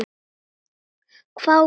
hváði hún.